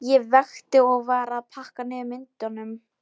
Ég vakti og var að pakka niður myndunum.